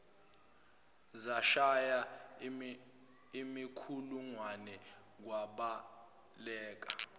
zashaya imikhulungwane kwabaleka